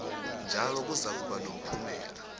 njalo kuzakuba nomphumela